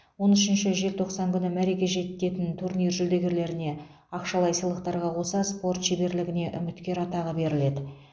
он үшінші желтоқсан күні мәреге жететін турнир жүлдегерлеріне ақшалай сыйлықтарға қоса спорт шеберлігіне үміткер атағы беріледі